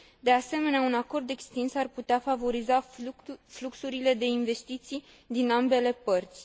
De asemenea, un acord extins ar putea favoriza fluxurile de investiții din ambele părți.